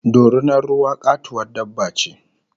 Dorinar ruwa katuwar dabba ce